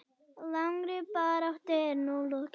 Langri baráttu er nú lokið.